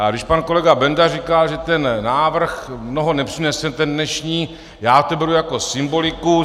A když pan kolega Benda říká, že ten návrh mnoho nepřinese, ten dnešní, já to beru jako symboliku.